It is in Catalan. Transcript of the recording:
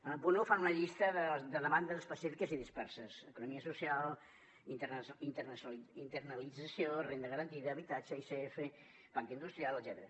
en el punt un fan una llista de demandes específiques i disperses economia social internalització renda garantida habitatge icf pacte industrial etcètera